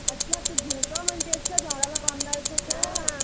अच्छा तू झोका म्हणतियेस का झाडाला बंधायचा तो?